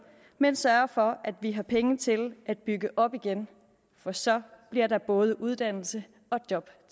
men sørge for at vi har penge til at bygge op igen for så bliver der både uddannelse og job